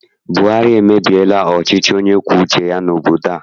Buhari emebiela ọchịchị onye kwue uche ya n'obodo a.